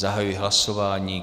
Zahajuji hlasování.